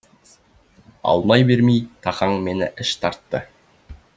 алмай бермей тахаң мені іш тартты